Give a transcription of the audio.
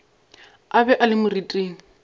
a be a le moriting